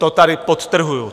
To tady podtrhuji.